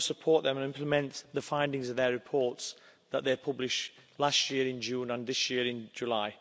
We must support them and implement the findings of their reports, which they published last year in June and this year in July.